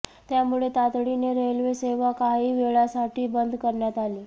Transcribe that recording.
त्यामुळे तातडीने रेल्वे सेवा काही वेळासाठी बंद करण्यात आली